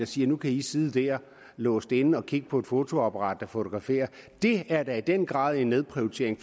siger nu kan i sidde dér låst inde og kigge på et fotoapparat der fotograferer det er da i den grad en nedprioritering